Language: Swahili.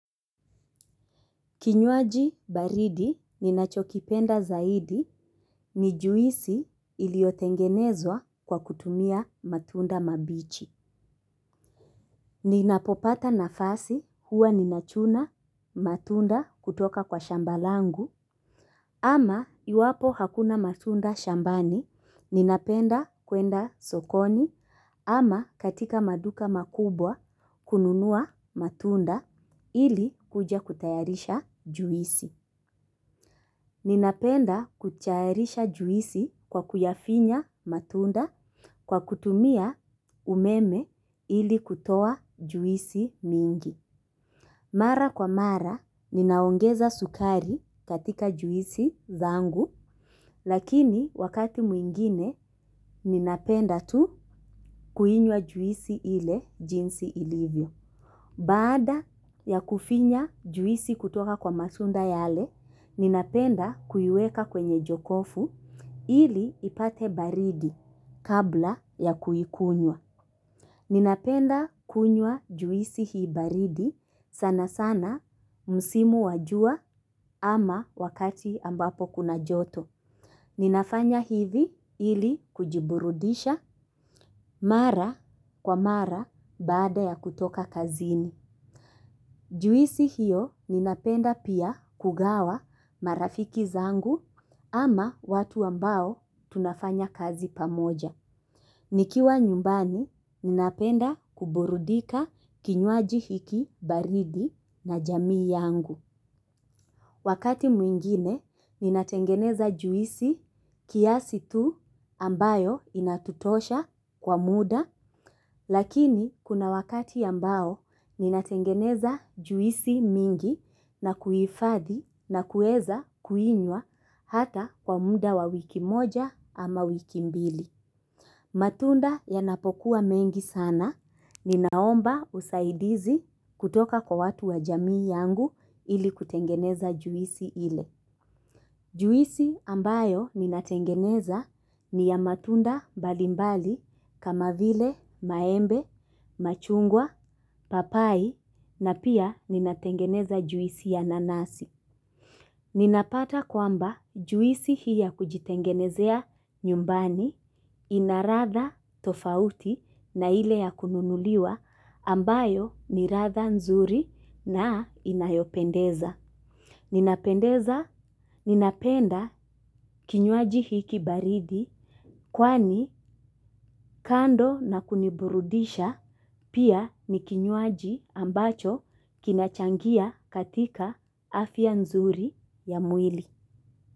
Kinywaji baridi ninachokipenda zaidi ni juisi iliyotengenezwa kwa kutumia matunda mabichi. Ninapopata nafasi huwa ninachuna matunda kutoka kwa shamba langu. Ama iwapo hakuna matunda shambani ninapenda kuenda sokoni ama katika maduka makubwa kununua matunda ili kuja kutayarisha juisi. Ninapenda kutayarisha juisi kwa kuyafinya matunda kwa kutumia umeme ili kutoa juisi mingi. Mara kwa mara, ninaongeza sukari katika juisi zangu, lakini wakati mwingine, ninapenda tu kuinywa juisi ile jinsi ilivyo. Baada ya kufinya juisi kutoka kwa matunda yale, ninapenda kuiweka kwenye jokofu ili ipate baridi kabla ya kuikunywa. Ninapenda kunywa juisi hii baridi sana sana msimu wa jua ama wakati ambapo kuna joto. Ninafanya hivi ili kujiburudisha mara kwa mara baada ya kutoka kazini. Juisi hiyo ninapenda pia kugawa marafiki zangu ama watu ambao tunafanya kazi pamoja. Nikiwa nyumbani ninapenda kuburudika kinywaji hiki baridi na jamii yangu. Wakati mwingine, ninatengeneza juisi kiasi tu ambayo inatutosha kwa muda, lakini kuna wakati ambao ninatengeneza juisi mingi na kuhifadhi na kueza kuinywa hata kwa muda wa wiki moja ama wiki mbili. Matunda yanapokuwa mengi sana ninaomba usaidizi kutoka kwa watu wa jamii yangu ili kutengeneza juisi ile. Juisi ambayo ninatengeneza ni ya matunda mbalimbali kama vile maembe, machungwa, papai na pia ninatengeneza juisi ya nanasi. Ninapata kwamba juisi hii ya kujitengenezea nyumbani ina ladha tofauti na ile ya kununuliwa ambayo ni ladha nzuri na inayopendeza. Ninapendeza, ninapenda kinywaji hiki baridi kwani kando na kuniburudisha pia ni kinywaji ambacho kinachangia katika afya nzuri ya mwili.